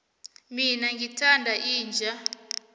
mina ngithanda inja